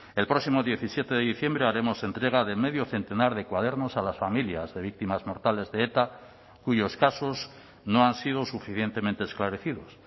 el próximo diecisiete de diciembre haremos entrega de medio centenar de cuadernos a las familias de víctimas mortales de eta cuyos casos no han sido suficientemente esclarecidos